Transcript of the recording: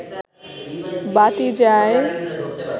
বাটী যাই